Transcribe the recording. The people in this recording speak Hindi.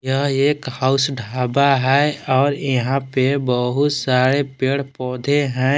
यह एक हाउस ढाबा है और यहां पे बहोत सारे पेड़ पौधे हैं।